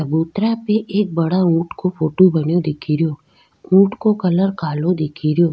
चबूतरा पे एक बड़ो ऊंट को फोटो बन्यो दिखेरो ऊंट को कलर काला दिखे रियो।